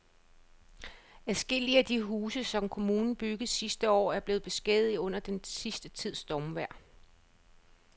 Adskillige af de huse, som kommunen byggede sidste år, er blevet beskadiget under den sidste tids stormvejr.